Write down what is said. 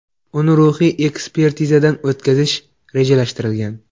Uni ruhiy ekspertizadan o‘tkazish rejalashtirilgan.